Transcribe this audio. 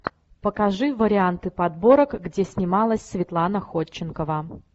покажи варианты подборок где снималась светлана ходченкова